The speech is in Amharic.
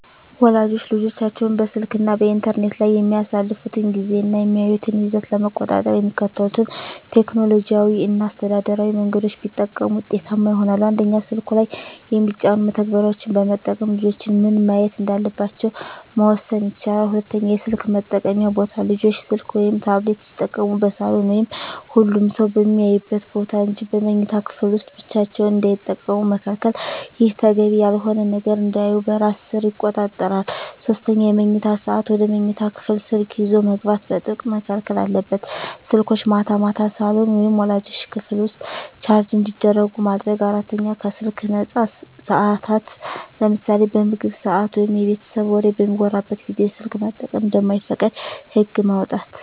ወላጆች ልጆቻቸው በስልክ እና በኢንተርኔት ላይ የሚያሳልፉትን ጊዜ እና የሚያዩትን ይዘት ለመቆጣጠር የሚከተሉትን ቴክኖሎጂያዊ እና አስተዳደራዊ መንገዶች ቢጠቀሙ ውጤታማ ይሆናል፦ 1)ስልኩ ላይ የሚጫኑ መተግበሪያዎችን በመጠቀም ልጆች ምን ማየት እንዳለባቸው መወሰን ይቻላል። 2)የስልክ መጠቀምያ ቦታ: ልጆች ስልክ ወይም ታብሌት ሲጠቀሙ በሳሎን ወይም ሁሉም ሰው በሚያይበት ቦታ እንጂ በመኝታ ክፍል ውስጥ ብቻቸውን እንዳይጠቀሙ መከልከል። ይህ ተገቢ ያልሆነ ነገር እንዳያዩ በራስ ሰር ይቆጣጠራል። 3)የመኝታ ሰዓት: ወደ መኝታ ክፍል ስልክ ይዞ መግባት በጥብቅ መከልከል አለበት። ስልኮች ማታ ማታ ሳሎን ወይም ወላጆች ክፍል ውስጥ ቻርጅ እንዲደረጉ ማድረግ። 4)ከስልክ ነፃ ሰዓታት: ለምሳሌ በምግብ ሰዓት ወይም የቤተሰብ ወሬ በሚወራበት ጊዜ ስልክ መጠቀም እንደማይፈቀድ ህግ ማውጣት።